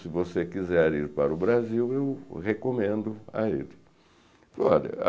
Se você quiser ir para o Brasil, eu recomendo a ele. Olha